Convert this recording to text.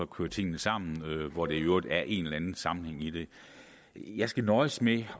køre tingene sammen hvor der i øvrigt er en eller anden sammenhæng i det jeg skal nøjes med